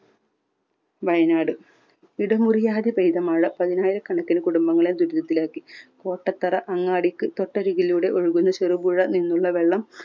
വയനാട് ഇടമുറിയാതെ പെയ്ത മഴ പതിനായിരക്കണക്കിന് കുടുംബങ്ങളെ ദുരിതത്തിലാക്കി. കോട്ടത്തറ അങ്ങാടിക്ക് തൊട്ടരികിലൂടെ ഒഴുകുന്ന ചെറുപുഴ നിന്നുള്ള വെള്ളം